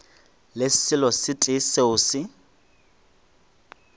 le selo se tee seo